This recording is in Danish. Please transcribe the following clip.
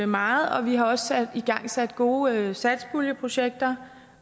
meget og vi har også igangsat gode satspuljeprojekter